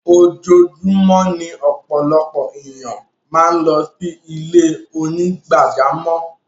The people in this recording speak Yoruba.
Ojúọ̀júmọ̀ ni ọpọlọpọ̀ ẹ̀niyàn màá ń lọ sí ilẹ̀-onígbàjàmọ́.